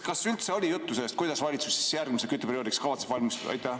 Kas üldse oli juttu sellest, kuidas valitsus järgmiseks kütteperioodiks kavatseb valmistuda?